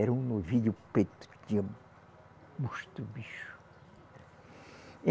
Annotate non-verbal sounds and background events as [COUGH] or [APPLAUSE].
Era um novilho preto que tinha gosto o bicho. [UNINTELLIGIBLE] Eh